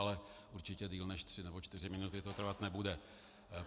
Ale určitě déle než tři nebo čtyři minuty to trvat nebude.